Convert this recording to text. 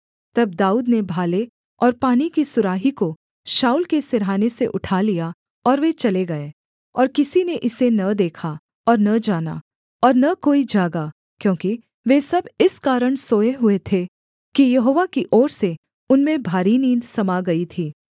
तब दाऊद ने भाले और पानी की सुराही को शाऊल के सिरहाने से उठा लिया और वे चले गए और किसी ने इसे न देखा और न जाना और न कोई जागा क्योंकि वे सब इस कारण सोए हुए थे कि यहोवा की ओर से उनमें भारी नींद समा गई थी